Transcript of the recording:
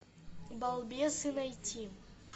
балбесы найти